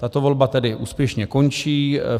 Tato volba tedy úspěšně končí.